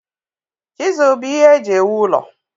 Chiselu bụ ihe eji ewu ụlọ.